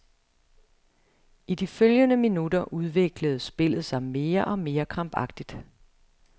I de følgende minutter udviklede spillet sig mere og mere krampagtigt.